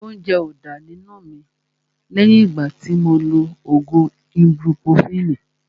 Óúnjẹ ó dá nínú mi lẹ́yìn ìgbà tí mo lo ògùn ibupurofini